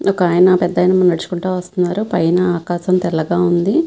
ఒకాయన పెద్ధయన నడుచుకుంటా వస్తున్నారు. పైన ఆకాశం తెల్లగా ఉంది.